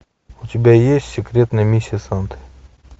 у тебя есть секретная миссия санты